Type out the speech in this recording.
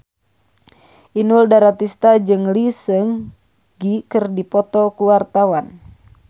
Inul Daratista jeung Lee Seung Gi keur dipoto ku wartawan